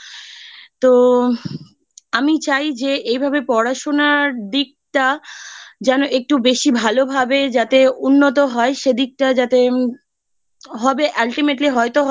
তো আমি চাই যে এইভাবে পড়াশোনার দিকটা যেন একটু বেশি ভালোভাবে যাতে উন্নত হয় সে দিকটা যাতে উম হবে Ultimately হয়তো হবে